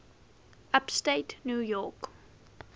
upstate new york